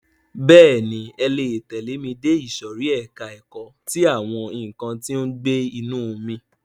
Bẹ́ẹ̀ni, ẹ le tẹ̀lẹ́ ẹ dé ìsòrí ẹka ẹ̀kọ́ ti àwọn nǹkan tí ó ń gbé inú omi.